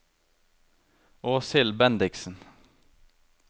Åshild Bendiksen